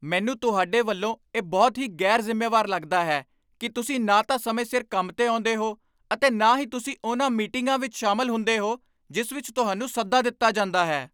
ਮੈਨੂੰ ਤੁਹਾਡੇ ਵੱਲੋਂ ਇਹ ਬਹੁਤ ਹੀ ਗ਼ੈਰ ਜ਼ਿੰਮੇਵਾਰ ਲੱਗਦਾ ਹੈ ਕੀ ਤੁਸੀਂ ਨਾ ਤਾਂ ਸਮੇਂ ਸਿਰ ਕੰਮ 'ਤੇ ਆਉਂਦੇਹੋ ਅਤੇ ਨਾ ਹੀ ਤੁਸੀਂ ਉਨ੍ਹਾਂ ਮੀਟਿੰਗਾਂ ਵਿੱਚ ਸ਼ਾਮਲ ਹੁੰਦੇ ਹੋ, ਜਿਸ ਵਿੱਚ ਤੁਹਾਨੂੰ ਸੱਦਾ ਦਿੱਤਾ ਜਾਂਦਾ ਹੈ